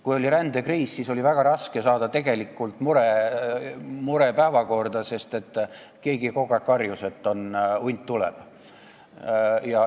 Kui oli rändekriis, siis oli väga raske saada tegelikku muret päevakorda, sest keegi kogu aeg karjus, et hunt tuleb.